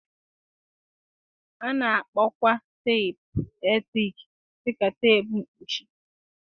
A na-akpọkwa teepu eletrik dị ka teepu mkpuchi.